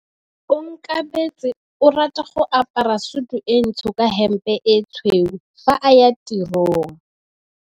Onkabetse o rata go apara sutu e ntsho ka hempe e tshweu fa a ya tirong.